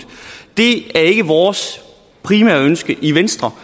det er ikke vores primære ønske i venstre